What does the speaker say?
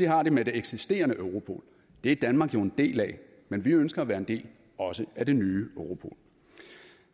har dem med det eksisterende europol det er danmark jo en del af men vi ønsker at være en del også af det nye europol